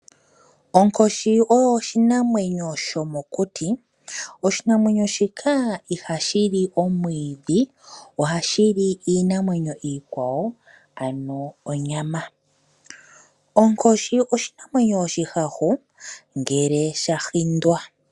Onkoshi oyo oshinamwenyo shomokuti. Oshinamwenyo shika ihashi li omwiidhi. Ohashi li iinamwenyo iikwawo, ano onyama. Onkoshi oshinamwenyo oshihahu ngele sha hindwa.